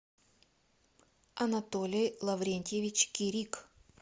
анатолий лаврентьевич кирик